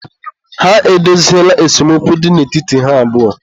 ha edoziela esemokwu dị n'etiti ha abụọ